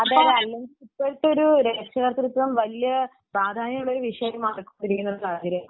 ഇപ്പോഴത്തെ ഒരു രക്ഷാകർതൃത്വം വലിയ ഒരു പ്രാധാന്യമുള്ള വിഷയമായി എടുത്തിട്ടുള്ള സാഹചര്യമാണ്